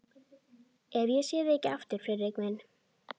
Ef ég sé þig ekki aftur, Friðrik minn.